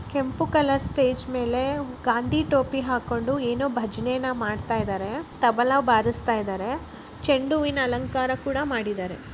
ಕೆಂಪು colour stage ಮೇಲೆ ಗಾಂಧಿ ಟೋಪಿ ಹಾಕೊಂಡು ಏನೋ ಭಜನೆಯನ್ನು ಮಾಡ್ತಾ ಇದ್ದಾರೆ ತಬಲಾ ಬಾರಸ್ತಾ ಇದ್ದಾರೆ ಚಂಡು ಹೂವಿನ ಅಲಂಕಾರ ಕೂಡ ಮಾಡಿದ್ದಾರೆ.